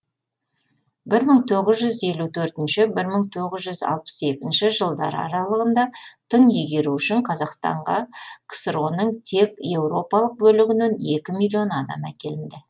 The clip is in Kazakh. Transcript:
бір мың тоғыз жүз елу төртінші бір мың тоғыз жүз алпыс екінші жылдар аралығында тың игеру үшін қазақстанға ксро ның тек еуропалық бөлігінен екі миллион адам әкелінді